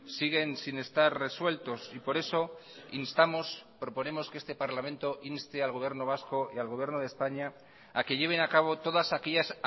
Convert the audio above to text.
siguen sin estar resueltos y por eso instamos proponemos que este parlamento inste al gobierno vasco y al gobierno de españa a que lleven a cabo todas aquellas